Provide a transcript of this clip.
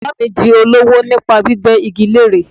Bàbáà mi di olówò nípa gbígbẹ́ igi lére.